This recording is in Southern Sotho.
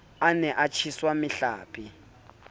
a ne a tjheswa mehlape